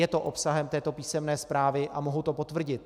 Je to obsahem této písemné zprávy a mohu to potvrdit.